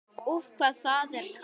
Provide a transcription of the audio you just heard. Úff, hvað það er kalt!